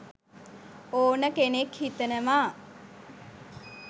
ඕන කෙනෙක් හිතනවා.